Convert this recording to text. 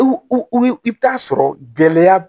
I bɛ taa sɔrɔ gɛlɛya